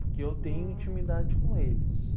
Porque eu tenho intimidade com eles.